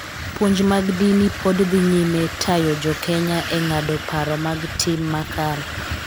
Puonj mag din pod dhi nyime tayo Jo-Kenya e ng�ado paro mag tim makare